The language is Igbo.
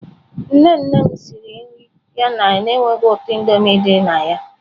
Nne nne m siri nri ya na-enweghị ụtọ Indomie dị na ya.